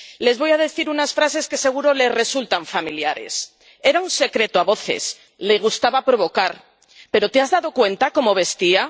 Les voy a decir unas frases que seguro que les resultan familiares Era un secreto a voces, le gustaba provocar, pero, ¿te has dado cuenta de cómo vestía?.